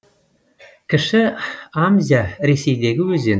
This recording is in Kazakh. кіші амзя ресейдегі өзен